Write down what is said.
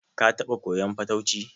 Ka taɓa koyan fatauci?